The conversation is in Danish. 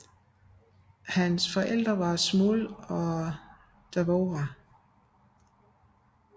Hans forældre var Shmuel og Devorah